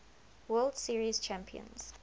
world series champions